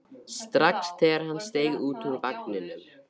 strax þegar hann steig út úr vagninum.